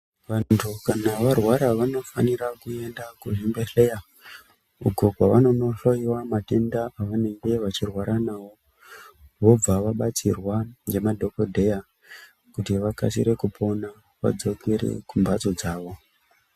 Vantu kana varwara vanofanira kuenda kuchibhedhlera uko kwavanono hloiwa matenda avanenge vachirwara nawo, vobva vabatsirwa ngemadhokodheya kuti vakasire kupona vadzokere kumbatso dzavo.